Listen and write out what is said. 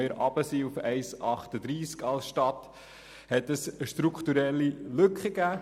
Als wir auf 1,38 hinuntergingen, ergab sich daraus eine strukturelle Lücke.